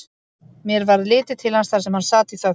Mér varð litið til hans þar sem hann sat í þögn.